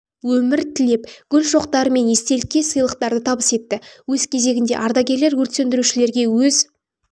өмір тілеп гүл шоқтары мен естелікке сыйлықтарды табыс етті өз кезегінде ардагерлер өрт сөндірушілерге өз